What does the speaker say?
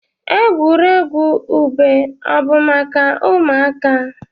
Egwuregwu ube o bụ maka ụmụaka?